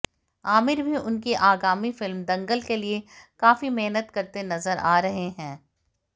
आमिर भी उनकी आगामी फिल्म दंगल के लिए काफी मेहनत करते नज़र आ रहे हैं